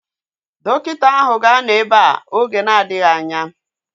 Dọkịta áhụ̀ ga-anọ ebea oge na-adịghị anya